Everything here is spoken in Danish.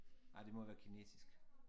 Ej det må være kinesisk